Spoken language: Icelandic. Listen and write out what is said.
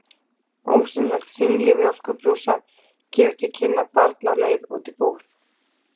Ósýnilegt hringl í mjólkurbrúsa gefur til kynna barn á leið út í búð.